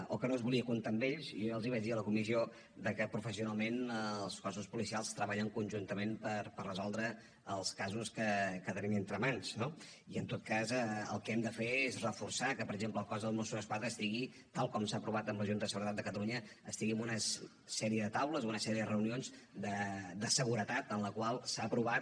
o que no es volia comptar amb ells jo ja els vaig dir a la comissió que professionalment els cossos policials treballen conjuntament per resoldre els casos que tenim entre mans no i en tot cas el que hem de fer és reforçar que per exemple el cos de mossos d’esquadra estigui tal com s’ha aprovat en la junta de seguretat de catalunya en una sèrie de taules en una sèrie de reunions de seguretat en la qual s’ha aprovat